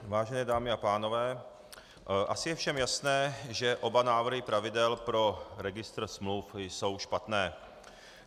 Vážené dámy a pánové, asi je všem jasné, že oba návrhy pravidel pro registr smluv jsou špatné.